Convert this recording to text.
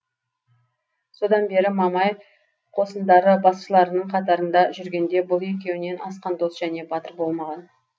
содан бері мамай қосындары басшыларының қатарында жүргенде бұл екеуінен асқан дос және батыр болмаған